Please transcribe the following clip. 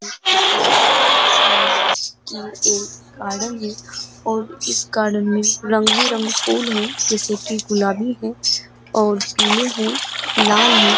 इस तस्वीर में दिख रहा है गार्डन है और इस गार्डन में रंग-बिरंगे फूल है जैसे कि गुलाबी है और पीले हो लाल हैं।